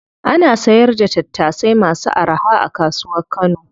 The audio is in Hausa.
Ana sayar da tattasai masu araha a kasuwar kano.